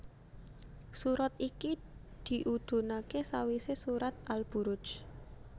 Surat iki diudhunaké sawisé surat Al Buruj